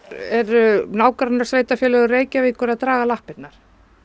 eru nágrannasveitarfélög Reykjavíkur að draga lappirnar